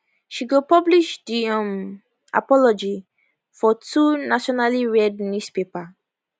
she go publish di um apology for two nationallyread newspaper